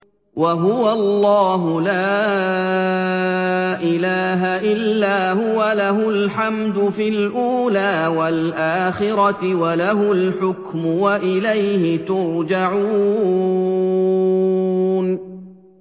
وَهُوَ اللَّهُ لَا إِلَٰهَ إِلَّا هُوَ ۖ لَهُ الْحَمْدُ فِي الْأُولَىٰ وَالْآخِرَةِ ۖ وَلَهُ الْحُكْمُ وَإِلَيْهِ تُرْجَعُونَ